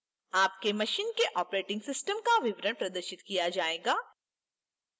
आपके मशीन के operating system का विवरण प्रदर्शित किया जाएगा